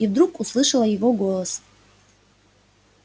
и вдруг услышала его голос